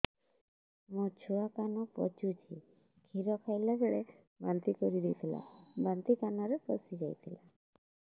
ମୋ ଛୁଆ କାନ ପଚୁଛି କ୍ଷୀର ଖାଇଲାବେଳେ ବାନ୍ତି କରି ଦେଇଥିଲା ବାନ୍ତି କାନରେ ପଶିଯାଇ ଥିଲା